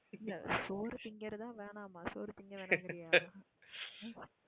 இல்லை சோறு திங்கிறதா வேணாமா, சோறு திங்க வேணாங்கிறியா உம்